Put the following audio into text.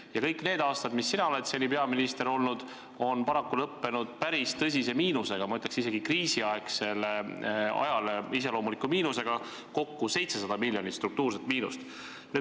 Ja kõik need aastad, mis sina oled seni peaminister olnud, on paraku lõppenud päris tõsise miinusega, ütleksin isegi, kriisiajale iseloomuliku miinusega, kokku 700 miljonit struktuurset miinust.